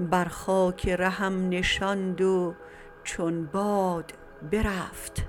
برخاک رهم نشاند و چون باد برفت